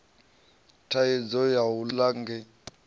thaidzo ya u ḽa nge